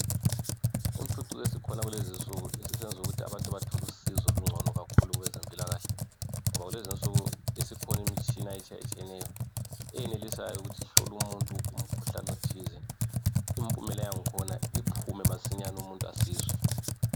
Impucuko esikhona kulezinsuku isisenza ukuthi abantu bathole usizo olungcono kakhulu kwezempilakahle ngoba kulezinsuku isikhona imitshina etshiyetshiyeneyo eyenelisayo ukuthi ihlole umuntu umkhuhlane othize impumela yangkhona iphume masinyane umuntu asizwe.